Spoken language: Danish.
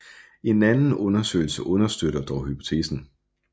En anden undersøgelse understøtter dog hypotesen